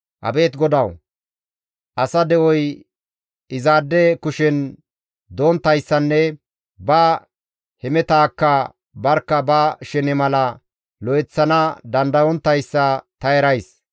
Abeet GODAWU! Asa de7oy izaade kushen donttayssanne ba hemetaakka barkka ba shene mala lo7eththana dandayonttayssa ta erays.